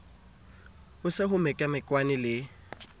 ho se ho mekamekanwe le